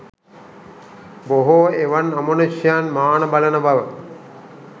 බොහෝ එවන් අමනුෂ්‍යයන් මාන බලන බව